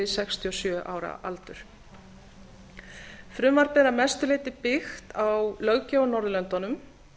sextíu og sjö ára aldur frumvarpið er að mestu leyti byggt á löggjöf á